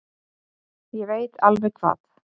Ég veit alveg hvað